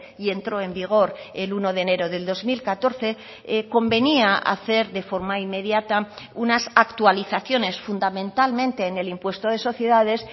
y entró en vigor el uno de enero del dos mil catorce convenía hacer de forma inmediata unas actualizaciones fundamentalmente en el impuesto de sociedades